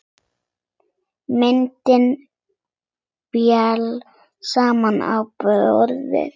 Myndin féll samt á borðið.